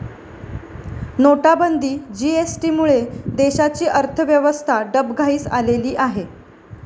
नोटाबंदी, जीएसटीमुळे देशाची अर्थव्यवस्था डबघाईस आलेली आहे.